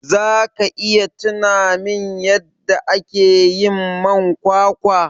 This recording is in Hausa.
zaka iya tunamin yadda akeyin man kwakwa?